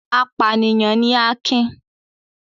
Apànìyàn ni Akin.